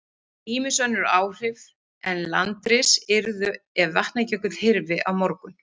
Ýmis önnur áhrif en landris yrðu ef Vatnajökull hyrfi á morgun.